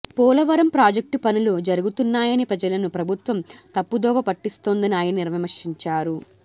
Polavaram project పనులు జరుగుతున్నాయని ప్రజలను ప్రభుత్వం తప్పుదోవ పట్టిస్తోందని ఆయన విమర్శించారు